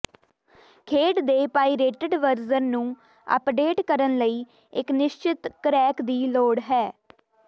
ਖੇਡ ਦੇ pirated version ਨੂੰ ਅਪਡੇਟ ਕਰਨ ਲਈ ਇੱਕ ਨਿਸ਼ਚਿਤ ਕ੍ਰੈਕ ਦੀ ਲੋੜ ਹੈ